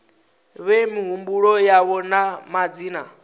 fhe mihumbulo yavho na madzina